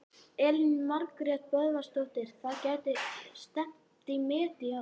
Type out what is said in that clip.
Elín Margrét Böðvarsdóttir: Það gæti stefnt í met í ár?